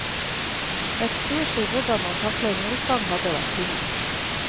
Et kurs i hvordan man takler motgang hadde vært tingen.